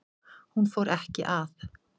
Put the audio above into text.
Hún fór ekki að